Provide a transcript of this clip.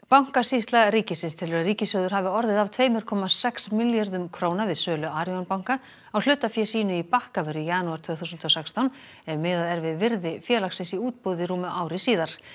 bankasýsla ríkisins telur að ríkissjóður hafi orðið af tveimur komma sex milljörðum króna við sölu Arion banka á hlutafé sínu í Bakkavör í janúar tvö þúsund og sextán ef miðað er við virði félagsins í útboði rúmu ári síðar